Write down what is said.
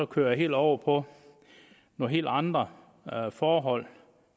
køre det over på nogle helt andre forhold